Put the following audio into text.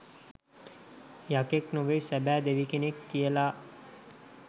යකෙක් නෙවෙයි සැබැ දෙවි කෙනෙක් කියලා